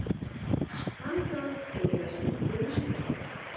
Þann dag voru lesnir húslestrar.